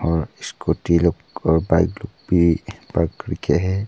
और स्कूटी लोग और बाइक लोग भी पार्क करके है।